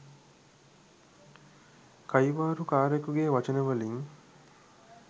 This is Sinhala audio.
කයිවාරු කාරයෙකුගේ වචනවලින්.